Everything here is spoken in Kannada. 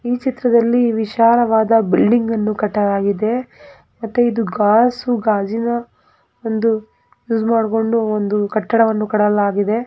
ಈ ಚಿತ್ರದಲ್ಲಿ ವಿಶಾಲವಾದ ಬಿಲ್ಡಿಂಗ್ ಅನ್ನು ಕಟ್ಟಲಾಗಿದೆ ಮತ್ತೆ ಇದು ಗ್ಲಾಸು ಗಾಜಿನ ಒಂದು ಯುಸ್‌ ಮಡ್ಕೊಂಡು ಒಂದು ಕಟ್ಟಡವನ್ನು ಕಟ್ಟಲಾಗಿದೆ .